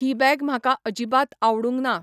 ही bag म्हाका अजिबात आवडूंक ना.